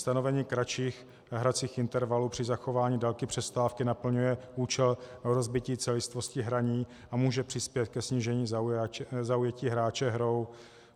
Stanovení kratších hracích intervalů při zachování délky přestávky naplňuje účel rozbití celistvosti hraní a může přispět ke snížení zaujetí hráče hrou.